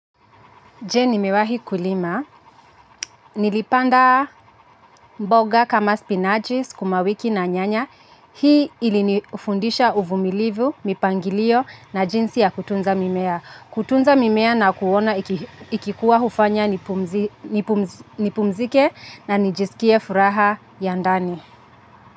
Ji nimewahi kulima, nilipanda mboga kama spinaji, sukumawiki na nyanya, hii ilinifundisha uvumilivu, mipangilio na jinsi ya kutunza mimea. Kutunza mimea na kuona ikikuwa hufanya nipumzike na nijisikie furaha ya ndani.